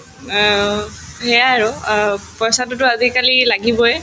অ, সেয়াই আৰু অ পইচাটোতো আজিকালি লাগিবয়ে